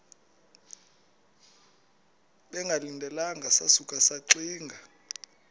bengalindelanga sasuka saxinga